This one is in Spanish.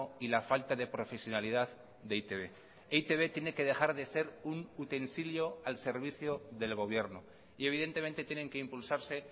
y la falta de profesionalidad de e i te be e i te be tiene que dejar de ser un utensilio al servicio del gobierno y evidentemente tienen que impulsarse